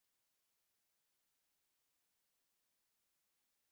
Tolu hụrụ ose n'anya na ofe ya